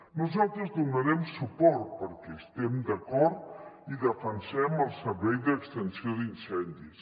nosaltres hi donarem suport perquè hi estem d’acord i defensem el servei d’extinció d’incendis